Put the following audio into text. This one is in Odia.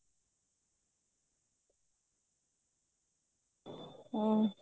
ଓ